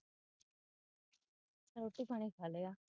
ਰੋਟੀ ਪਾਣੀ ਖਾਲਿਆ